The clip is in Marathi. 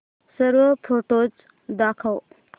सर्व फोटोझ दाखव